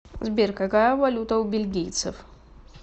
сбер какая валюта у бельгийцев